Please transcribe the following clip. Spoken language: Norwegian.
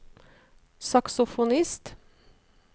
saksofonist